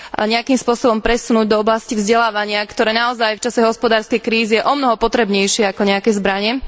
nejakým spôsobom presunúť do oblasti vzdelávania, ktoré naozaj v čase hospodárskej krízy je omnoho potrebnejšie ako nejaké zbrane.